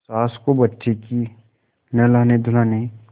सास को बच्चे के नहलानेधुलाने